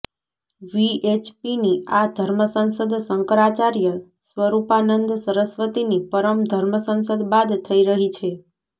વીએચપીની આ ધર્મસંસદ શંકરાચાર્ય સ્વરૂપાનંદ સરસ્વતીની પરમ ધર્મસંસદ બાદ થઈ રહી છે